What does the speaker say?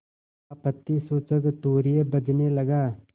आपत्तिसूचक तूर्य बजने लगा